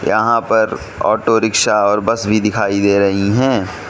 यहां पर auto rickshaw और बस भी दिखाई दे रही है।